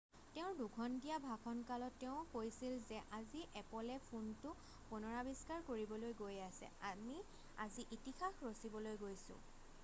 তেওঁৰ 2 ঘণ্টীয়া ভাষণ কালত তেওঁ কৈছিল যে আজি এপলে ফোনটো পুনৰাৱিষ্কাৰ কৰিবলৈ গৈ আছে আমি আজি ইতিহাস ৰছিবলৈ গৈছোঁ